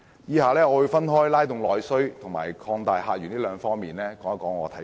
以下我會分別從"拉動內需"及"擴大客源"兩方面表達意見。